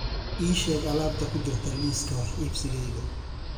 ii sheeg alaabta ku jirta liiska wax iibsigayga